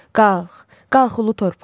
Qalx, qalx ulu torpaq.